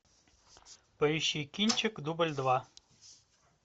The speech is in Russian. поищи кинчик дубль два